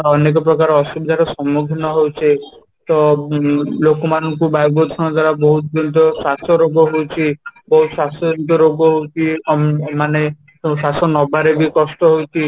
ଆଉ ଅନେକ ପ୍ରକାର ଅସୁବିଧା ର ସମ୍ମୁଖୀନ ହଉଛେ ତ ଉଁ ଲୋକମାନଙ୍କୁ ବାୟୁ ପ୍ରଦୂଷଣ ଦ୍ୱାରା ବହୁତ କିନ୍ତୁ ଶ୍ୱାସ ରୋଗ ହଉଛି ବହୁତ ଶ୍ୱାସ ଜନିତ ରୋଗ ହଉଛି ମାନେ ବହୁତ ଶ୍ୱାସ ନବାରେ ବି କଷ୍ଟ ହଉଛି